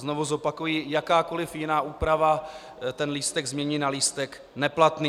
Znovu zopakuji, jakákoliv jiná úprava ten lístek změní na lístek neplatný.